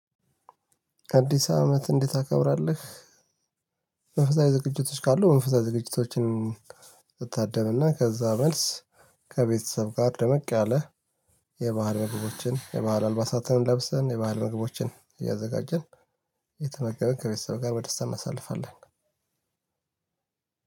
ከአዲስ አመት እንዴት ታከብራለህ? መንፈሳዊ ዝግጅቶች ካሉ መንፈሳዊ ዝግጅቶችን። መታደምና ከዛ መልስ። ከቤተሰብ ጋር ደመቅ ያለ የባህር ነገሮችን የባህል አልባሳትን እንለብሳለን። የባህል ምግቦችን እያዘጋጀን እየተመገብን ከቤተሰብ ጋር በደስታ እናሳልፋለን።